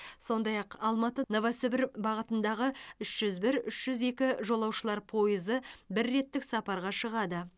сондай ақ алматы новосібір бағытындағы үш жүз бір үш жүз екі жолаушылар пойызы бір реттік сапарға шығады